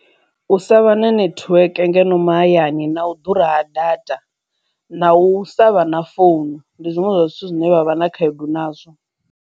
U sa vha na netiweke ngeno mahayani na u ḓura ha data na u savha na founu ndi zwiṅwe zwa zwithu zwine vha vha na khaedu nazwo.